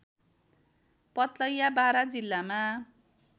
पथलैया बारा जिल्लामा